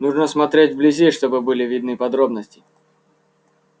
нужно смотреть вблизи чтобы были видны подробности